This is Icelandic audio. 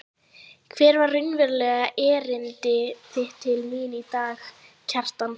Hvert var raunverulegt erindi þitt til mín í dag, Kjartan?